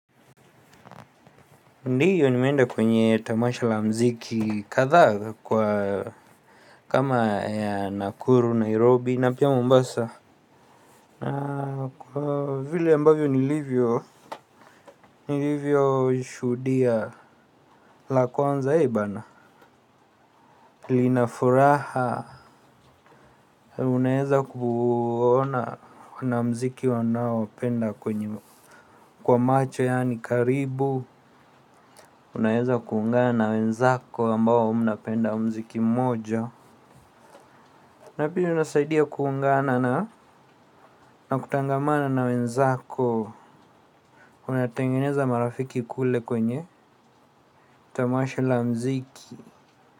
Ndiyo nimeenda kwenye tamasha la mziki kadhaa kwa kama ya Nakuru, Nairobi, na pia Mombasa. Na kwa vile ambavyo niLivyo, niLivyo shuhudia la kwanza ibana. Linafuraha, unaeza kuona wanamziki wanao penda kwenye kwa macho yaani karibu. Unaeza kuungana na wenzako ambao mnapenda mziki moja. Na pia inasaidia kuungana na na kutangamana na wenzako. Unatangeneza marafiki kule kwenye tamasha la mziki.